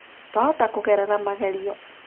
Twahota kũgerera magerio